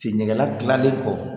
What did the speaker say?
Sen ɲɛgɛnnadilannen kɔ